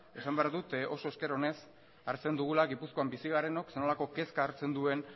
esan behar dut oso ezker onez hartzen dugula gipuzkoan bizi garenok zer nolako kezka hartzen duen